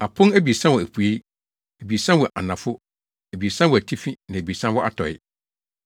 Apon abiɛsa wɔ apuei; abiɛsa wɔ anafo; abiɛsa wɔ atifi na abiɛsa wɔ atɔe.